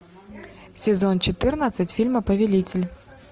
сезон четырнадцать фильма повелитель